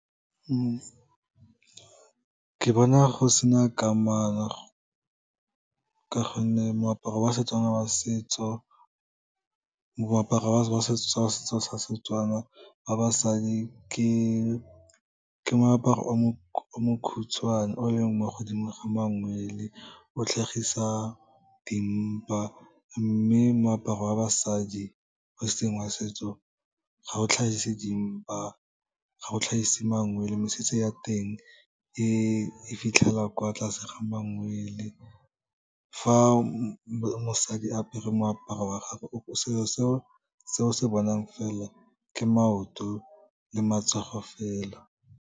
Ke bona go sena kamano ka gonne moaparo wa setso sa Setswana wa basadi, ke moaparo o mokhutshwane o leng mo godimo ga mangwele, o tlhagisa dimpa, mme moaparo wa basadi o seng wa setso, ga o tlhagise dimpa, ga o tlhagise mangwele, mesese ya teng e fitlhela kwa tlase ga mangwele. Fa mosadi apere moaparo wa gagwe, selo se o se bonang fela, ke maoto le matsogo fela.